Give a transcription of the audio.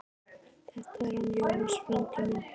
Þetta er hann Jónas, frændi minn.